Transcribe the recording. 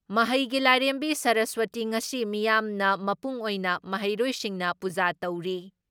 ꯃꯍꯩꯒꯤ ꯂꯥꯏꯔꯦꯝꯕꯤ ꯁꯔꯁꯋꯇꯤ ꯉꯁꯤ ꯃꯤꯌꯥꯝꯅ ꯃꯄꯨꯡ ꯑꯣꯏꯅ ꯃꯍꯩꯔꯣꯏꯁꯤꯡꯅ ꯄꯨꯖꯥ ꯇꯧꯔꯤ ꯫